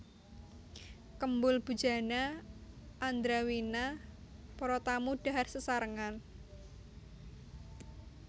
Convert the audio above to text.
Kembul Bujana Andrawina Para tamu dhahar sesarengan